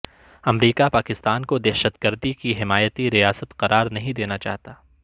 امریکا پاکستان کو دہشت گردی کی حمایتی ریاست قرارنہیں دینا چاہتا